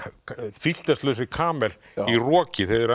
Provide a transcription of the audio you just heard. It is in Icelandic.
filterslausum camel í roki þegar þeir